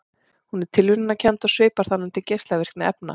Hún er tilviljunarkennd og svipar þannig til geislavirkni efna.